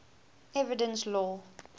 evidence law